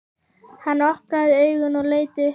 Hann opnaði augun og leit upp.